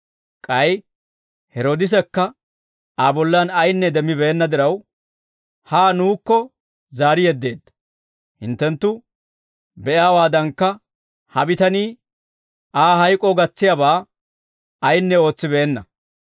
K'ay Heroodisekka Aa bollan ayinne demmibeenna diraw, haa nuukko zaari yeddeedda; hinttenttu be'iyaawaadankka, ha bitanii Aa hayk'oo gatsiyaabaa ayinne ootsibeenna.